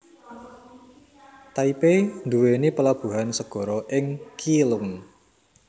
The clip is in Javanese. Taipei nduwèni plabuhan segara ing Keelung